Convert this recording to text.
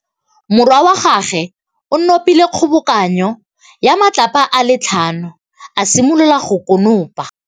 Morwa wa gagwe o nopile kgobokanô ya matlapa a le tlhano, a simolola go konopa.